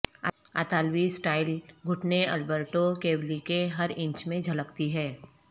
اطالوی سٹائل گھنٹے Alberto Cavalli کے ہر انچ میں جھلکتی ہے